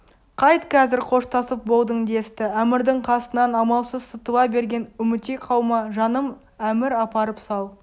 қайт қазір қоштасып болдың десті әмірдің қасынан амалсыз сытыла берген үмітей қалма жаным әмір апарып сал